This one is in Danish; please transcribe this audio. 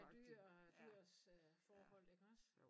Med dyr og dyrs forhold iggås